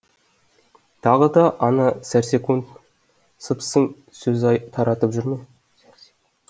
тағы да ана сәрсек сыпсың сөз таратып жүр ме